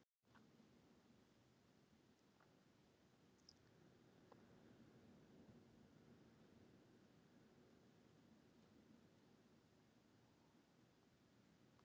Elvar Geir Magnússon og Tómas Þór Þórðarson skoðuðu fréttir vikunnar.